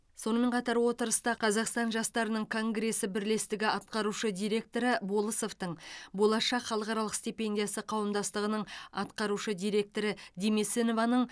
сонымен қатар отырыста қазақстан жастарының конгресі бірлестігі атқарушы директоры болысовтың болашақ халықаралық стипендиясы қауымдастығының атқарушы директоры демесинованың